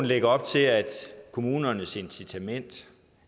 lægger op til at kommunernes incitament